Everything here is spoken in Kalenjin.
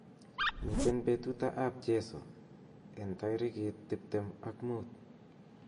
miten betuta ab jeiso en tagigit tiptem ak muut